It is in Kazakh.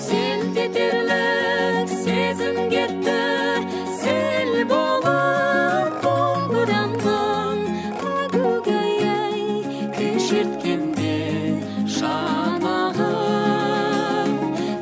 селт етерлік сезім кетті сел болып домбырамнан әгугай ай күй шерткенде шанағы